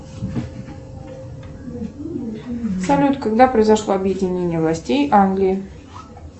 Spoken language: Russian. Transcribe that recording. салют когда произошло объединение властей англии